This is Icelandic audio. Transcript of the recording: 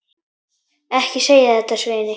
Ekki segja þetta, Svenni.